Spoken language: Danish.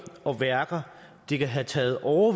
og værker det kan have taget år